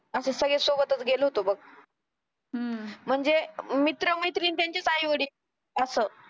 असं सगळं सोबतच गेलो होतो बघ हम्म म्हणजे मित्र-मैत्रीण त्यांचे आई-वडील असं